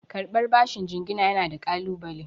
Karɓar bashin jingina yana da ƙalunale.